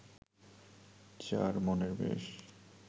চার মনের বেশ